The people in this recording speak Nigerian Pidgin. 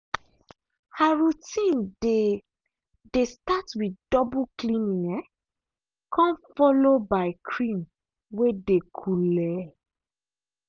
her routine dey dey start with double cleaning um come follow by cream way dey coole.